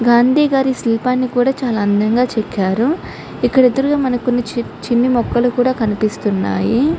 గాంధీ గారి శిల్పాన్ని కూడా చాలా అందంగా చెక్కారు. ఇక్కడ ఎదురుగా ఇక్కడ మనకి చిన్న చిన్న మొక్కలు కూడా కనిపిస్తున్నాయి.